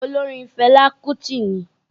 Olóorin Fẹlá Kútì ni.